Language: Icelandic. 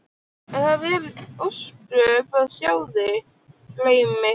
En það eru ósköp að sjá þig, greyið mitt.